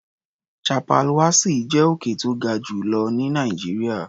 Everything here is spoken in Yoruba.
Chappal Wassi jẹ́ òkè tó ga jù lọ ní Nàìjíríà.